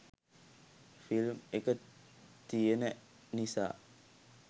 film එක තියෙන නිසා